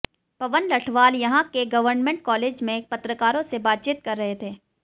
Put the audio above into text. पवन लठवाल यहां के government college में पत्रकारों से बातचीत कर रहे थे